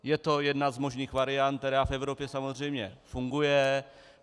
Je to jedna z možných variant, která v Evropě samozřejmě funguje.